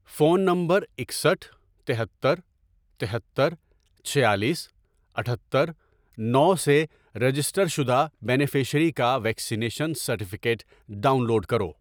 Phone number اکسٹھ ،تہتر، تہتر، چھیالیس، اٹھتر، نو، سے رجسٹر شدہ بینیفشیری کا ویکسینیشن سرٹیفکیٹ ڈاؤن لوڈ کرو۔